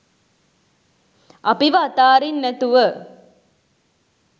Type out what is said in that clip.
අපිව අතාරින්නැතුව